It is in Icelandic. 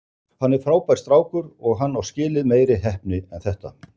Hann er frábær strákur og hann á skilið meiri heppni en þetta.